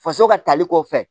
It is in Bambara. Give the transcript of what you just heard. Faso ka tali kɔfɛ